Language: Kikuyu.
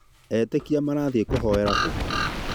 Etĩkia marathĩĩ kũhoera kũ?